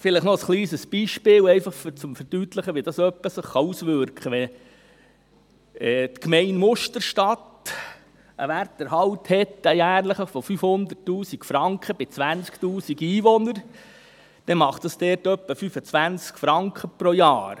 Vielleicht noch ein kleines Beispiel, um zu verdeutlichen, wie sich dies auswirken könnte: Wenn die Gemeinde Musterstadt bei 20 000 Einwohnern einen jährlichen Werterhalt von 500 000 Franken hat, macht dies ungefähr 25 Franken pro Jahr.